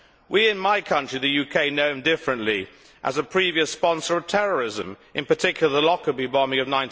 We in my country, the UK, know him differently as a previous sponsor of terrorism, in particular, the Lockerbie bombing of